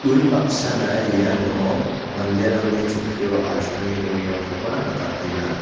unbaksana iano manderangni chokkio asonge dongengakoba nikatenga.